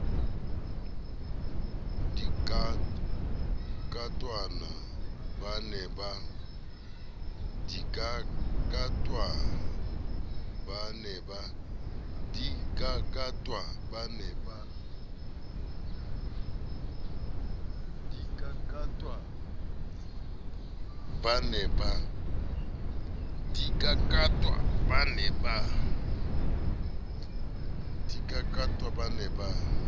di kakatwa ba ne ba